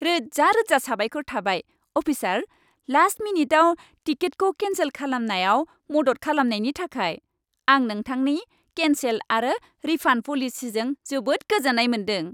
रोजा रोजा साबायखर थाबाय, अफिसार! लास्ट मिनिटआव टिकेटखौ केन्सेल खालामनायाव मदद खालामनायनि थाखाय, आं नोंथांनि केन्सेल आरो रिफान्ड पलिसिजों जोबोद गोजोन्नाय मोनदों।